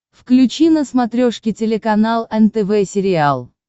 включи на смотрешке телеканал нтв сериал